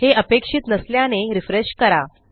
हे अपक्षित नसल्याने रिफ्रेश करा